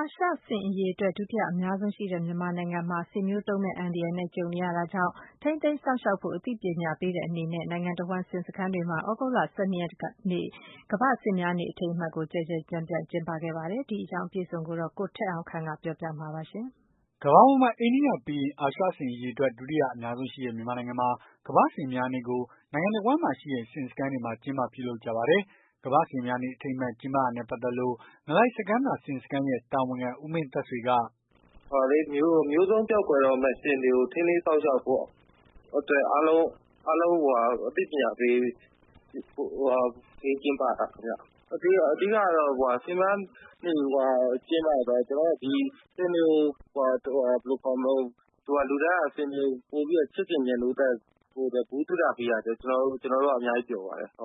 အာရှ ဆင်အရေအတွက် ဒုတိယအများဆုံးရှိတဲ့ မြန်မာနိုင်ငံမှာ ဆင်မျိုးတုံးမယ့်အန္တရာယ်နဲ့ ကြုံနေရတာကြောင့် ထိန်းသိမ်းစောင့်ရှောက် ဖို့ အသိပညာပေးတဲ့ အနေနဲ့ နိုင်ငံတဝှမ်း ဆင်စခန်းတွေမှာ သြဂုတ်လ ၁၂ ရက်နေ့က ကမ္ဘာ့ဆင်များနေ့ အထိမ်းအမှတ်ကို ကျယ်ကျယ်ပြန့်ပြန့် ကျင်းပခဲ့ကြပါတယ်။ ဒီအကြောင်း အပြည့်အစုံကို ကိုထက်အောင်ခန့်က ပြောပြပေးမှာပါ။ ကမ္ဘာပေါ်မှာ အိန္ဒိယပြီးရင် အာရှဆင်အရေအတွက် ဒုတိယအများဆုံးရှိတဲ့ မြန်မာနိုင်ငံမှာ ကမ္ဘာ့ဆင်များနေ့ကို နိုင်ငံတဝန်းမှာရှိတဲ့ ဆင်စခန်းတွေမှာ ကျင်းပပြုလုပ်ကြပါတယ်။ ကမ္ဘာ့ဆင်များနေ့ အထိမ်းအမှတ် ကျင်းပတာနဲ့ ပတ်သက်လို့ ငလိုက်စခန်းသာ ဆင်စခန်းရဲ့တာဝန်ခံ ဦးမင်းသက်ဆွေက "မျိုးတုန်းပျောက်ကွယ်တော့မယ့် ဆင်တွေကို ထိန်းသိမ်းစောင့်ရှောက်ဖို့အတွက် အားလုံးကို အသိပညာပေး ကျင်းပတာခင်ဗျ။ အဓိကက ဆင်များနေ့ ကျင်းပတာက ဆင်တွေကို လူတိုင်းက ချစ်ခင်မြတ်နိုးဖို့ ဗဟုသုတပေးရတဲ့အတွက် ကျွန်တော်တို့က အများကြီး ပျော်ပါတယ်။"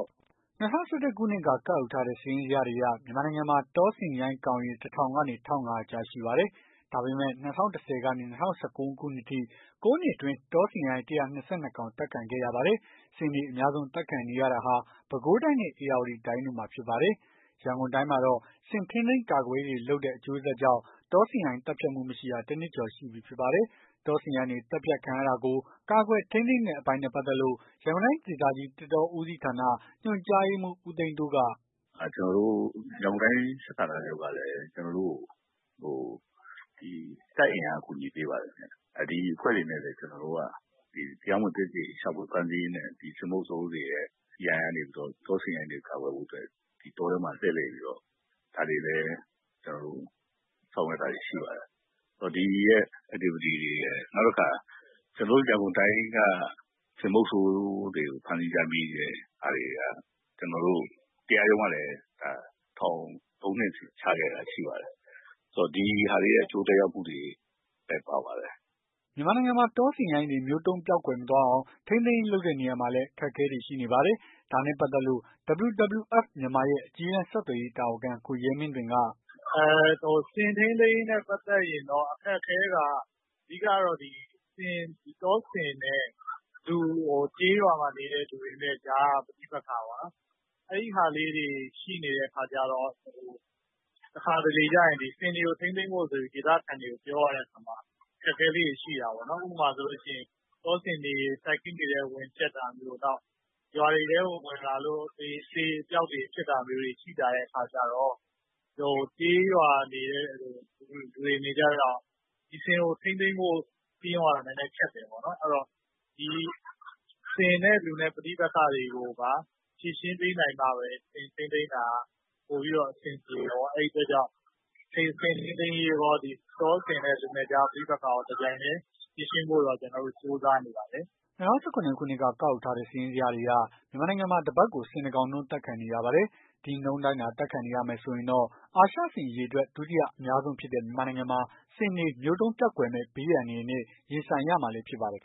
၂၀၁၁ ခုနှစ်က ကောက်ယူထားတဲ့ စာရင်းဇယားတွေအရ မြန်မာနိုင်ငံမှာ တောဆင်ရိုင်းကောင်ရေ ၁,၀၀၀ ကနေ ၁,၅၀၀ ကြား ရှိပါတယ်။ ဒါပေမယ့် ၂၀၁၀ ကနေ ၂၀၁၉ ခုနှစ်အထိ ၉ နှစ်အတွင်း တောဆင်ရိုင်း ၁၂၂ ကောင် အသတ်ခံခဲ့ရပါတယ်။ ဆင်တွေ အများဆုံး အသတ်ခံနေရတာဟာ ပဲခူးတိုင်းနဲ့ ဧရာဝတီတိုင်းတို့မှာ ဖြစ်ပါတယ်။ ရန်ကုန်တိုင်းမှာတော့ ဆင်ထိန်းသိမ်းကာကွယ်ရေးတွေလုပ်တဲ့ အကျိုးဆက်ကြောင့် တောဆင်ရိုင်း သတ်ဖြတ်မှုမရှိတာ ၁ နှစ် ကျော်ရှိပြီဖြစ်ပါတယ်။ တောဆင်ရိုင်းတွေ သြတ်ဖတ်ခံရတာကို ကာကွယ်ထိန်းသိမ်းတဲ့ အပိုင်းနဲ့ပတ်သက်လို့ ရန်ကုန်တိုင်းဒေသ ကြီး သစ်တောဦးစီးဌာန ညွှန်ကြားရေးမှူး ဦးသိန်းတိုးက "ရန်ကုန်တိုင်းစစ်ဌာနချုပ်ကလည်း တပ်အင်အား အကူညီပေးပါတယ်။ ဒီအဖွဲ့တွေနဲ့လည်း ကျွန်တော်တို့က တရားမဝင် ရှာဖွေ သိမ်းဆည်းရေးနဲ့ ဆင်မုဆိုးတွေရဲ့ ရန်ကနေပြီးတော့ တောဆင်ရိုင်းတွေကို ကာကွယ်ဖို့အတွက် တောထဲမှာ လှည့်လည်ပြီးတော့ ဒါတွေလည်း ဆောင်ရွက်တာတွေရှိပါတယ်။ ဒီလှုပ်ရှားမှုတွေ နောက်ပြီးတော့ ကျွန်တော်တို့ရန်ကုန်တိုင်းမှာ ဆင်မုဆိုးတွေကို ဖမ်းဆီးရမိတဲ့ဟာတွေက ကျွန်တော်တို့ တရားရုံးက ထောင် ၃ နှစ်စီ ချခဲ့တာတွေရှိပါတယ်။ ဒီဟာတွေရဲ့ အကျိုးသက်ရောက်မှု တွေလည်း ပါပါတယ်။" မြန်မာနိုင်ငံမှာ တောဆင်ရိုင်းတွေ မျိုးတုံးပျောက်ကွယ်မသွားအောင် ထိန်းသိမ်းရေး လုပ်တဲ့နေရာမှာလည်း အခက်အခဲတွေရှိနေ ပါတယ်။ ဒါနဲ့ပတ်သက်လို့ WWF မြန်မာရဲ့ အကြီးတန်း ဆက်သွယ်ရေးတာဝန်ခံ ကိုရဲမင်းသွင်က "ဆင်ထိန်းသိမ်းရေးနဲ့ ပတ်သက်ရင် အခက်အခဲတွေက အဓိကက တောဆင်နဲ့ ကျေးရွာမှာနေတဲ့ လူတွေကြား ပဋိပက္ခပေါ့နော်။ အဲ့ဟာလေးတွေရှိနေတဲ့အခါကျတော့ တခါတလေကျ ဆင်တွေကို ထိန်းသိမ်းဖို့ ဒေသခံတွေကို စည်းရုံးရတဲ့အခါ အခက်အခဲလေး တွေရှိတာပေါ့။ ဥပမာ တောဆင်တွေ စိုက်ခင်းတွေထဲ ဝင်ဖျက်တာမျိုး ရွာတွေထဲဝင်လာလို့ အသေအပျောက်တွေ ဖြစ်တာမျိုး ရှိလာတဲ့ အခါကျတော့ ကျေးရွာလူတွေအနေနဲ့ ဒီဆင်ကို ထိန်းသိမ်းဖို့ စည်းရုံးရတာ နည်းနည်း ခက်တယ်ပေါ့နော်။ ဆင်နဲ့လူနဲ့ ပဋိပက္ခတွေကို ဖြေရှင်းပေးနိုင်မှပဲ ဆင်ထိန်းသိမ်းတာ ပိုပြီးအဆင်ပြေတယ်ပေါ့။ အဲ့ဒီတော့ ဆင်ထိန်းသိမ်းရေးရော တောဆင်နဲ့ လူနဲ့ပဋိပက္ခတွေကို ဖြေရှင်းဖို့ ကြိုးစားနေပါတယ်။" ၂၀၁၇ ခုနှစ်က ကောက်ယူထားတဲ့ စာရင်းဇယားတွေအရ မြန်မာနိုင်ငံမှာ တပတ်ကို ဆင် ၁ ကောင်နှုန်း အသတ်ခံနေရပါတယ်။ ဒီနှုန်းထားအတိုင်းသာ အသတ်ခံနေရမယ်ဆိုရင်တော့ အာရှဆင်အရေအတွက် ဒုတိယအများဆုံးဖြစ်တဲ့ မြန်မာနိုင်ငံမှာ ဆင်တွေ မျိုးတုံးပျောက်ကွယ်မယ့် ဘေးအန္တရာယ်နဲ့ ရင်ဆိုင်ရမှာလည်း ဖြစ်ပါတယ်။